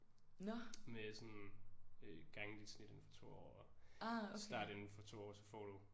Med sådan øh gange dit snit indenfor 2 år og start inden for 2 år så får du